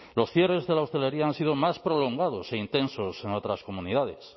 los cierres de la hostelería han sido más prolongados e intensos en otras comunidades